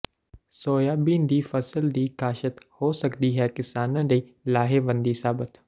soybean ਦੀ ਫਸਲ ਦੀ ਕਾਸ਼ਤ ਹੋ ਸਕਦੀ ਹੈ ਕਿਸਾਨਾ ਲਈ ਲਾਹੇਵੰਦੀ ਸਾਬਤ